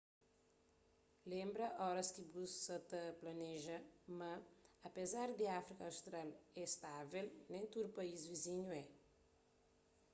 lenbra óras ki bu sa ta planeja ma apézar di áfrika austral é stável nen tudu país vizinhu é